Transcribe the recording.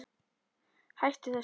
Hættu þessu